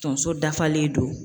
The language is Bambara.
Tonso dafalen don.